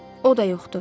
O da yoxdur.